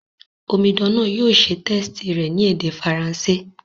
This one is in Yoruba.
Omidan náà yio se test rẹ̀ ni èdè French